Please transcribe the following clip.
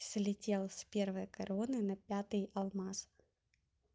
слетел с первой короны напятый алмаз